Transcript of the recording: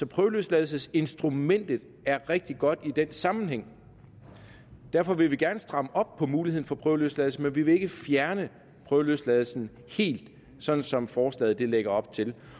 prøveløsladelsesinstrumentet er rigtig godt i den sammenhæng derfor vil vi gerne stramme op på muligheden for prøveløsladelse men vi vil ikke fjerne prøveløsladelsen helt sådan som forslaget lægger op til